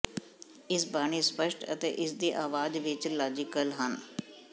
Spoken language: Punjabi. ਇਸ ਬਾਣੀ ਸਪਸ਼ਟ ਅਤੇ ਇਸ ਦੀ ਆਵਾਜ਼ ਵਿੱਚ ਲਾਜ਼ੀਕਲ ਹਨ